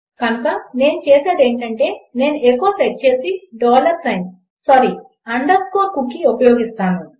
కనుక నేను చేసేది ఏమిటంటే నేను ఎఖో సెట్ చేసి dollar sign sorry underscore cookie ఉపయోగిస్తాను